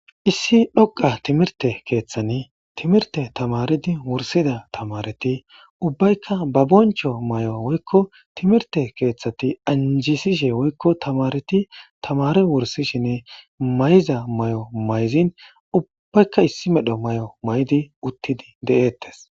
Issi dhoqa timirte keeththani timirte tamaridi wursida tamareti ubbaykka ba boncho may7o woykko timirte keeththati anjisishe woykko tamareti tamare wursishinne mayza may7o mayzin ubbbaykka issi medho may7o maydi uttidi de7eettes